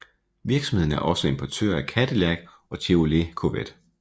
Virksomheden er også importør af Cadillac og Chevrolet Corvette